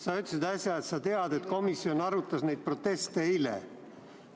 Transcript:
Sa ütlesid äsja, et sa tead, et komisjon arutas neid proteste eile.